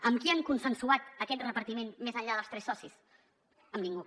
amb qui han consensuat aquest repartiment més enllà dels tres socis amb ningú